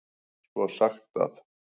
Svo er sagt að.